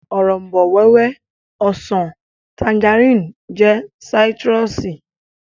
Òrombó-wẹ́wẹ́, ọsàn, tanjarínnì jẹ́ sáítírùsì